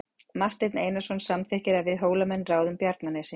Marteinn Einarsson samþykkir að við Hólamenn ráðum Bjarnanesi.